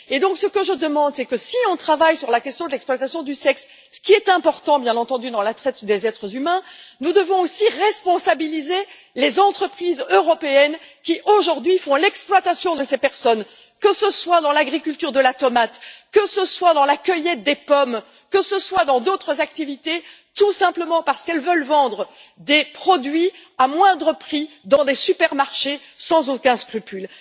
Donc, ce que je demande, c'est que si on travaille sur la question de l'exploitation du sexe ce qui est important, bien entendu, dans la traite des êtres humains nous devons aussi responsabiliser les entreprises européennes qui aujourd'hui font l'exploitation de ces personnes, que ce soit dans la culture de la tomate, dans la cueillette des pommes ou dans d'autres activités, tout simplement parce qu'elles veulent vendre des produits à moindre prix dans les supermarchés, sans aucun scrupule.